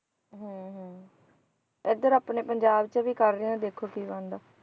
ਹਮ ਹਮ ਇੱਧਰ ਆਪਣੇ ਪੰਜਾਬ 'ਚ ਵੀ ਕਰ ਰਹੇ ਹੈ, ਦੇਖੋ ਕੀ ਬਣਦਾ,